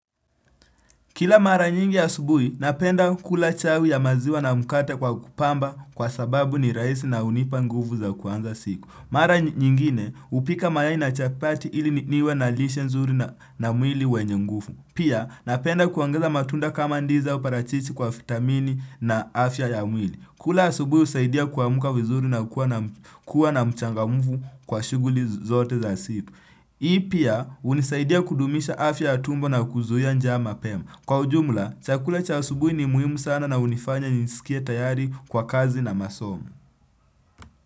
Kila mara nyingi asubuhi, napenda kula chawi ya maziwa na mkate kwa kupamba kwa sababu ni raisi na hunipa nguvu za kuanza siku. Mara nyingine, hupika mayai na chapati ili niwe na lishe nzuri na mwili wenye nguvu. Pia, napenda kuongeza matunda kama ndizi au parachichi kwa fitamini na afya ya mwili. Kula asubuhi husaidia kuamka vizuri na kuwa na mchangamfu kwa shughuli zote za siku. Hii pia hunisaidia kudumisha afya ya tumbo na kuzuia njaa mapema. Kwa ujumla, chakula cha asubui ni muhimu sana na hunifanya njiisikietayari kwa kazi na masomo.